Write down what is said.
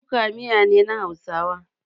Kuka miya ne na hausawa.